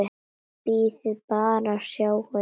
Bíðið bara og sjáið!